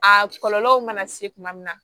A kɔlɔlɔw mana se tuma min na